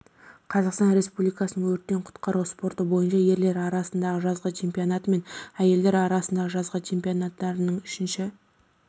қазақстан республикасының өрттен құтқару спорты бойынша ерлер арасындағы жазғы чемпионаты мен әйелдер арасындағы жазғы чемпионатының үшінші